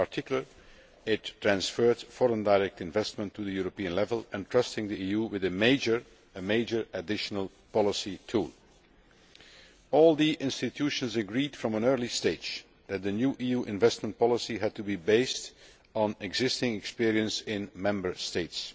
In particular, it transferred foreign direct investment to European level and entrusted the EU with a major additional policy tool. All the institutions agreed from an early stage that a new EU investment policy had to be based on existing experience in Member States.